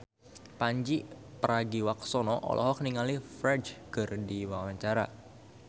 Pandji Pragiwaksono olohok ningali Ferdge keur diwawancara